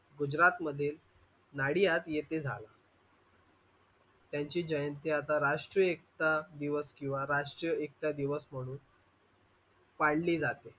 गुजरात मध्ये नाडियात येथे झाला. त्यांची जयंती आता राष्ट्रीय एकता दिवस किंवा राष्ट्रीय एकता दिवस म्हणून मानली जाते.